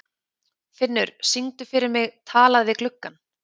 Finnur, syngdu fyrir mig „Talað við gluggann“.